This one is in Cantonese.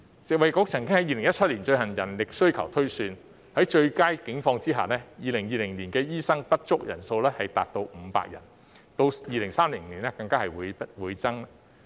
食衞局曾在2017年進行人力需求推算，即使在最佳的情況下 ，2020 年醫生短缺人數仍高達500人，到2030年更會倍增。